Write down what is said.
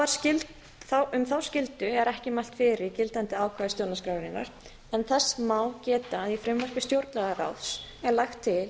um skýrslur um þá skyldu er ekki mælt fyrir í gildandi ákvæði stjórnarskrárinnar en þess má geta að í frumvarpi stjórnlagaráðs er lagt til að